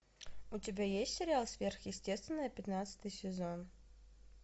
у тебя есть сериал сверхъестественное пятнадцатый сезон